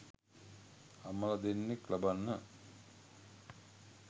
අම්මල දෙන්නෙක් ලබන්න